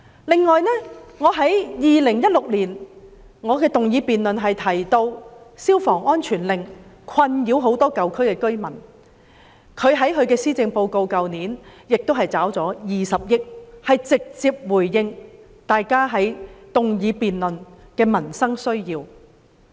此外，我在2016年動議的議案中提到，消防安全令困擾很多舊區居民，而特首在去年的施政報告已撥款20億元，直接回應我們在議案辯論提出的民生需要。